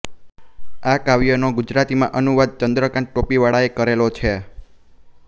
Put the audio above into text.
આ કાવ્યનો ગુજરાતીમાં અનુવાદ ચન્દ્રકાન્ત ટોપીવાળાએ કરેલો છે